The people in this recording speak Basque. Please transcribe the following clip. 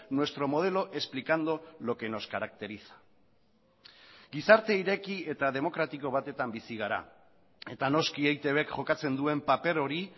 nuestro modelo explicando lo que nos caracteriza gizarte ireki eta demokratiko batetan bizi gara eta noski eitbk jokatzen duen paper hori